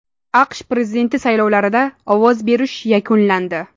AQSh prezidenti saylovlarida ovoz berish yakunlandi.